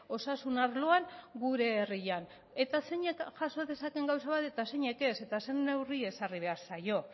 osasun arloan gure herrian eta zeinek jaso dezaten gauza bat eta zeinek ez eta zein neurri ezarri behar zaio